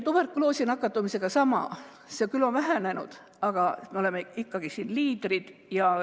Tuberkuloosi nakatumisega on sama lugu, see on küll vähenenud, aga me oleme siin ikkagi liidrid.